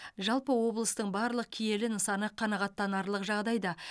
жалпы облыстың барлық киелі нысаны қанағаттанарлық жағдайда